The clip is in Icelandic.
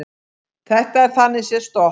Þetta er þannig séð stopp